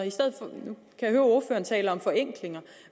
jeg taler om forenklinger